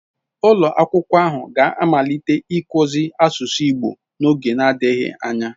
Ulo akwukwo ahu ga-amalite ikuzi asusu igbo n'oge adighi anya